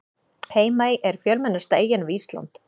Heimaey er fjölmennasta eyjan við Ísland.